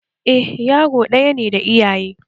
Eh yaro ɗaya ne da iyaye